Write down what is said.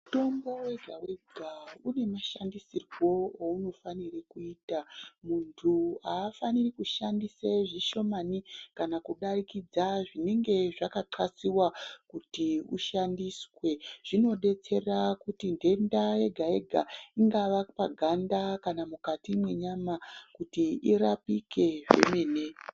Mutombo wega wega unemashandisirwo ounofanirwe kuitwa. Muntu afaniri kushandise zvishomani kana kudarikidza zvinenge zvakanxlasiwa, kuti ushandiswe, zvinodetsera kuti nhenda yega yega ingava paganda kana mukati menyama kuti irapike zvemene.